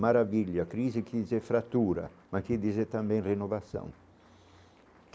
Maravilha, crise que diz é fratura, mas quer dizer também renovação.